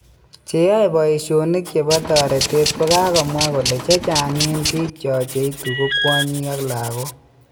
Che yaen paishonik chepo taretet kokamwa kolechechaag en pik cho cheitu ko kwanyik ak lagok